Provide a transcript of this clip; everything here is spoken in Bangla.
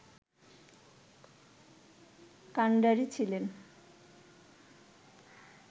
কান্ডারি ছিলেন